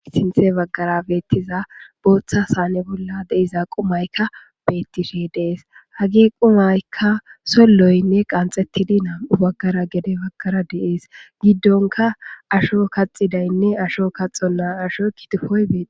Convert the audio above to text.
Sinthe baggara beettiza booththa saane bolla deiza qumaykka bettishe dees hagi qumaykka solloynne qanxettidi naam7u baggara gede baggara deees giddonka asho kaxidaynne asho kaxonna asho kitufoy bei..